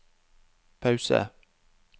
pause